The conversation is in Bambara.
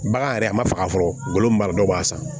Bagan yɛrɛ a ma faga fɔlɔ min mara dɔ b'a san